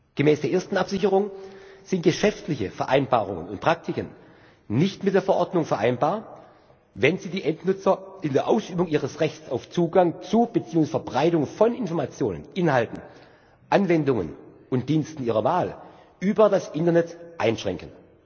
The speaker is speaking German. Gemäß der ersten Absicherung sind geschäftliche Vereinbarungen und Praktiken nicht mit der Verordnung vereinbar, wenn sie die Endnutzer in der Ausübung ihres Rechts auf Zugang zu beziehungsweise Verbreitung von Informationen, Inhalten, Anwendungen und Diensten ihrer Wahl über das Internet einschränken.